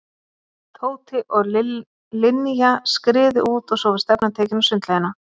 Tóti og Linja skriðu út og svo var stefnan tekin á sundlaugina.